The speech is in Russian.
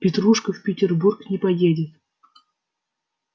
петрушка в петербург не поедет